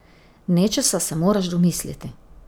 Nečesa se moraš domisliti!